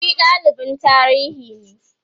shi dalibin tarihinne